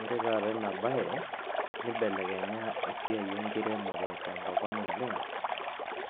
Ore taata ena baye nibelekenya esiai enkiremore tenkop ang' oleng'